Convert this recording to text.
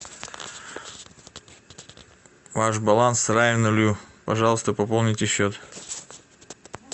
ваш баланс равен нулю пожалуйста пополните счет